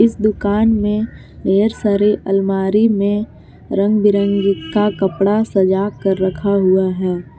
इस दुकान में ढेर सारे अलमारी में रंग बिरंगी का कपड़ा सजा कर रखा हुआ है।